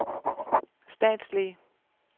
statslige